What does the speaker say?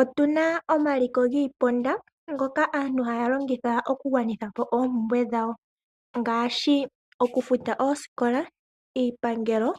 Otuna omaliko giiponda ngoka aantu haya longitha okufuta oompumbwe dhawo ngaashi okufuta oosikola, iipangelo,